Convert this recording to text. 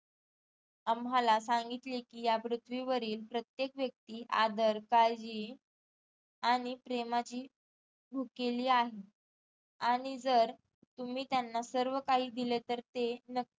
आम्हाला सांगितले की या पृथ्वीवरील प्रत्येक व्येक्ती आदर, काळजी आणि प्रेमाची भुकेली आहे आणि जर तुम्ही त्यांना सर्व काही दिले तर ते नकीच